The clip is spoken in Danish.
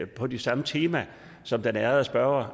på det samme tema som den ærede spørger